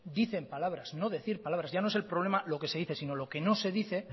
dicen palabras no decir palabras ya no es el problema de lo que se dice sino lo que no se dice